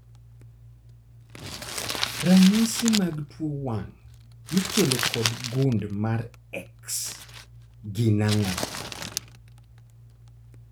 Ranyisi mag tuo wang' mikelo kod gund mar X gin ang'o?